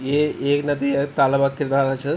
ये ऐक नदी ह तालाबक किनारा च ।